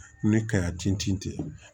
Ni ka tin tiɲɛ